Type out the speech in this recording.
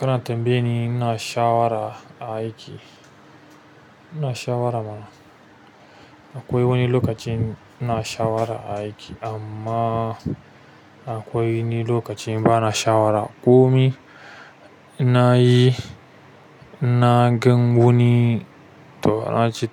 Kana tambaye ni, n'na shawara aiki. Ina shawara mana. Akwai wani lokacin i'na shawara aiki amma akwai wani lokacin bana shawara. Komi inna yi inna gan wani to